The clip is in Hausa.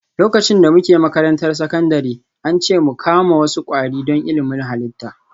Lokacin da muke makarantar sakandare, an ce mu kama wasu kwari don ilimin halitta